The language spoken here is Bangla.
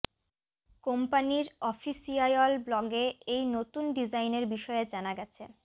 কোম্পানির অফিসিয়ায়ল ব্লগে এই নতুন ডিজাইনের বিষয়ে জানা গেছে